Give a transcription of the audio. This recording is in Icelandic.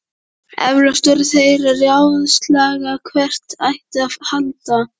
Eflaust voru þeir að ráðslaga hvert ætti að halda.